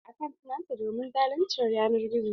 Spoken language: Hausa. Ta kashe akant nata domin zaluncin yanar gizo.